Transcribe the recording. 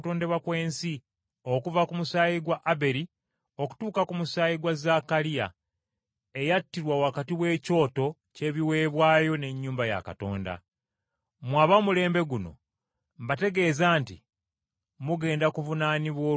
okuva ku musaayi gwa Aberi okutuuka ku musaayi gwa Zaakaliya, eyattirwa wakati w’ekyoto ky’ebiweebwayo ne yeekaalu. Mmwe ab’omulembe guno mbategeeza nti mugenda kuvunaanibwa olw’ebyo byonna.